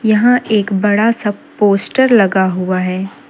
यहां एक बड़ा सा पोस्टर लगा हुआ है।